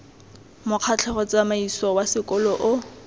mokgatlho tsamaiso wa sekolo o